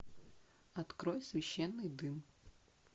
открой священный дым